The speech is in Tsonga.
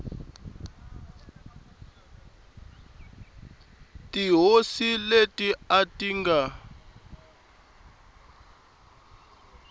tihosi leti a ti nga